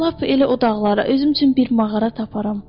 Lap elə o dağlara, özüm üçün bir mağara taparam.